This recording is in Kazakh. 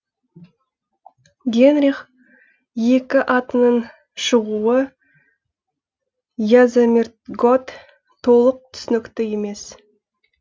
генрих екі атының шығуы язомирготт толық түсінікті емес